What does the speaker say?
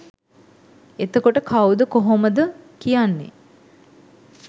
එතකොට කව්ද කොහොමද කියන්නෙ